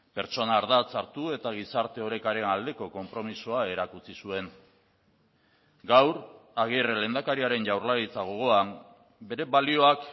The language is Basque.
pertsona ardatz hartu eta gizarte orekaren aldeko konpromisoa erakutsi zuen gaur agirre lehendakariaren jaurlaritza gogoan bere balioak